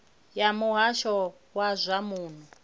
ya muhasho wa zwa muno